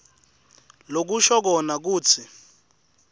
lokusho kona kutsi